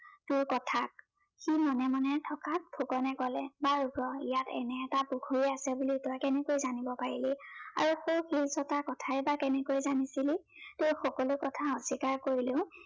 তোৰ কথাত। সি মনে মনে থকাত ফুকনে কলে, বাৰু তই ইয়াত এনে এটা পুখুৰী আছে বুলি তই কেনেকে জানিব পাৰিলি? আৰু সৌ শিলচটাৰ কথাই বা কেনেকে জানিছিলি? তোৰ সকলো কথা অস্বীকাৰ কৰিলেও